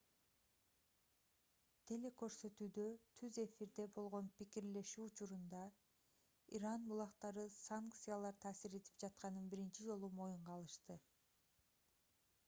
телекөрсөтүүдө түз эфирде болгон пикирлешүү учурунда иран булактары санкциялар таасир этип жатканын биринчи жолу моюнга алышты